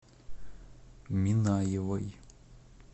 минаевой